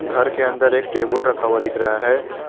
घर के अंदर एक टेबल रखा हुआ दिख रहा है।